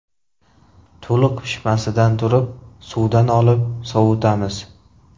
To‘liq pishmasidan turib, suvdan olib, sovitamiz.